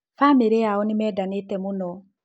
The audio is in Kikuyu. Bamĩrĩ yao nĩmendanete mũno